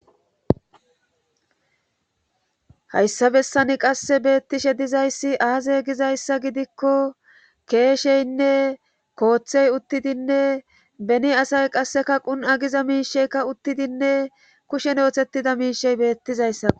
Hayssa bessani qasse beettishe dizayssi aazay gizayssa gidikko keesheynne kooththey uttidinne beni asay qasseka qun agiza miisheykka uttidinne kushen oothettida miishey beettizayssa.